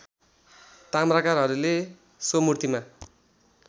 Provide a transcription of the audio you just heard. ताम्राकारहरूले सो मूर्तिमा